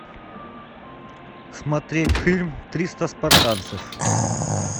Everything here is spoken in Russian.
смотреть фильм триста спартанцев